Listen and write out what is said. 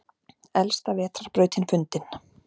Elsta vetrarbrautin fundin